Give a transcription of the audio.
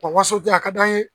Waso janya ka d'an ye